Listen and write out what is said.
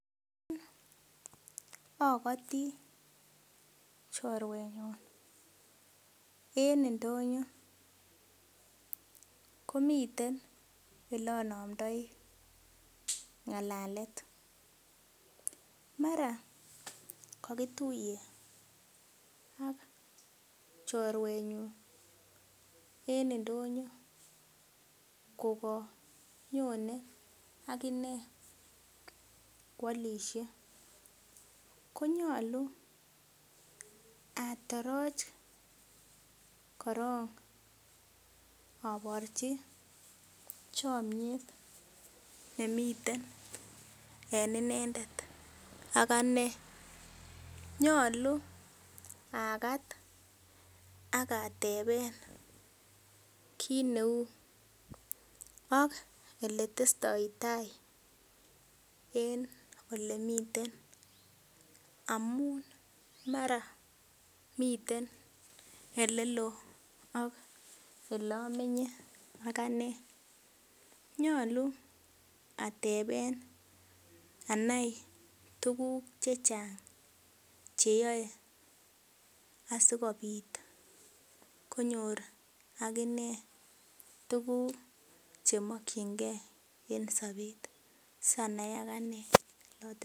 Okoti choruenyun en indonyo komiten elonomdoi ngalalet mara kokituye ak choruenyun en indonyo kokonyonen akine kwolishe konyolu atoroch korong oborji chomnyet nemi en inendet ak anee nyolu akat ak ateben kineu ak eletestoi taa en olemiten amun maraa miten elelo ok elomenye akanee nyolu ateben anai tuguk chechang cheyoe asikobit konyor akinee tuguk chemokyingee en sobet sanai akanee yoton.